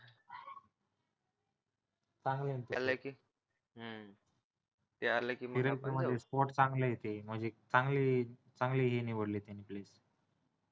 चांगलंय म्हणजे चांगली चांगली ही निवडली